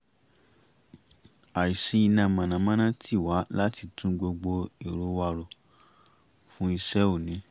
àìsí iná mọ̀nàmọ́ná tì wá láti tún gbogbo ètò wa rò fún iṣẹ́ òní